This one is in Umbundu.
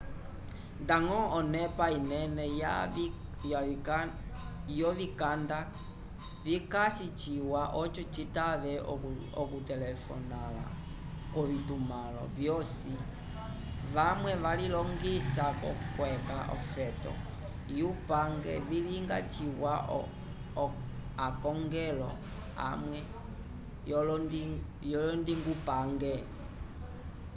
ndañgo onepa inene yovikanda vikasi ciwa oco citave okutelefonala k'ovitumãlo vyosi vamwe valilongisa k'okweca ofeto yupange vilinga ciwa akongelo amwe vyolondingupange